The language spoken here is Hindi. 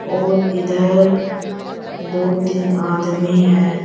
और इधर दो तीन आदमी है।